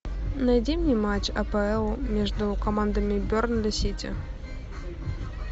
найди мне матч апл между командами бернли сити